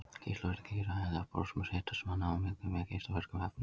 Geislavirkni getur hæglega borist eða smitast manna á milli með geislavirkum efnum.